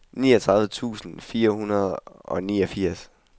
niogtredive tusind fire hundrede og niogfirs